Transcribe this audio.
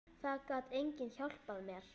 Það gat enginn hjálpað mér.